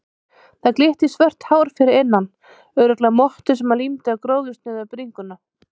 Það glitti í svört hár fyrir innan, örugglega mottu sem hann límdi á gróðursnauða bringuna.